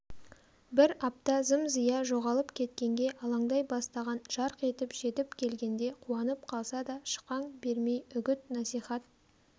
бір апта зым-зия жоғалып кеткенге алаңдай бастаған жарқ етіп жетіп келгенде қуанып қалса да шықаң бермей үгіт-насихат